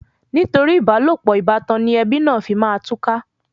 Nítorí ìbálòpọ̀ ìbátan ni ẹbí náà fi máa túká.